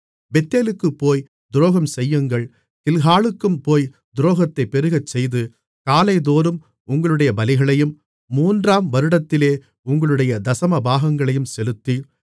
பெத்தேலுக்குப் போய்த் துரோகம்செய்யுங்கள் கில்காலுக்கும் போய் துரோகத்தைப் பெருகச்செய்து காலைதோறும் உங்களுடைய பலிகளையும் மூன்றாம் வருடத்திலே உங்களுடைய தசமபாகங்களையும் செலுத்தி